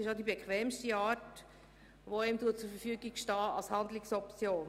Es ist auch die bequemste Handlungsoption, die einem nun zur Verfügung steht.